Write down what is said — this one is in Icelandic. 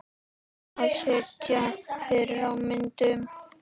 Að sitja fyrir á myndum?